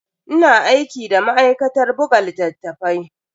Ina aiki da ma'aikatar buga littatafai.